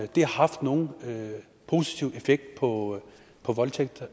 det har haft nogen positiv effekt på på voldtægt og